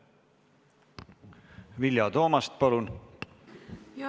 Vilja Toomast, palun!